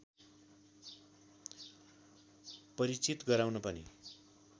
परिचित गराउन पनि